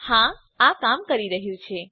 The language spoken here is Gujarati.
હા આ કામ કરી રહ્યું છે